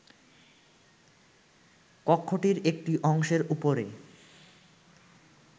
কক্ষটির একটি অংশের উপরে